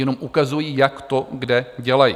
Jenom ukazuji, jak to kde dělají.